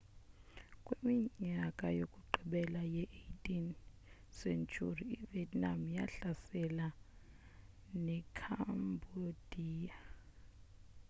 kwiminyaka yokugqibela ye-18 sentyhuri ivietnam yahlasela nekhambodiya